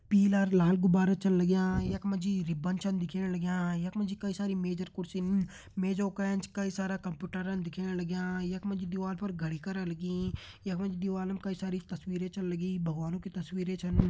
पीला लाल गुब्बारा छन लग्यां। यख मा जी रिबन छन दिखेण लग्यां। यख माजी कई सारी मेज अर कुर्सीन मेजों का एंच कई सारा कंप्यूटरन दिखेण लग्यां। यख माजी दीवार पर घड़ी करा लगीं। यख मा जी दिवालम कई सारी तस्वीरें छन लगीं भगवानो की तस्वीरें छन।